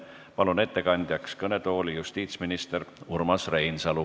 Palun ettekandeks kõnetooli justiitsminister Urmas Reinsalu.